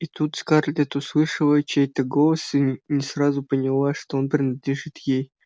и тут скарлетт услышала чей-то голос и не сразу поняла что он принадлежит ей